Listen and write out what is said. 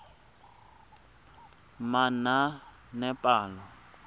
manaanepalo